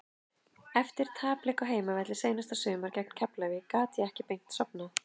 Eftir tapleik á heimavelli seinasta sumar gegn Keflavík gat ég ekki beint sofnað.